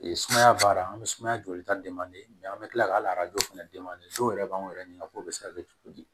sumaya baara an bɛ sumaya joli ta an bɛ tila k'a fana yɛrɛ b'anw yɛrɛ ɲɛna k'o bɛ se ka kɛ cogo di